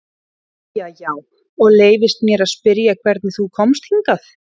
Jæja já, og leyfist mér að spyrja hvernig þú komst hingað?